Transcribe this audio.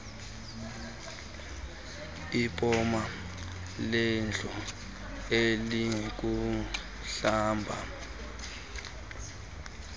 ipoma lendlu elikumhlaba